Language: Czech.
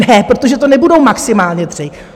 Ne, protože to nebudou maximálně tři.